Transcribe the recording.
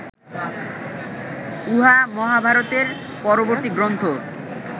উহা মহাভারতের পরবর্তী গ্রন্থ